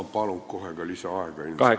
Ma palun kohe ka lisaaega!